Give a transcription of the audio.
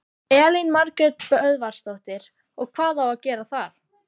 Elín Margrét Böðvarsdóttir: Og hvað á að gera þar?